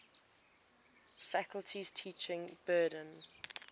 faculty's teaching burden